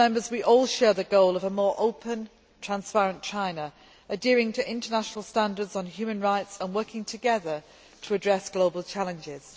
We all share the goal of a more open, transparent China adhering to international standards on human rights and working together to address global challenges.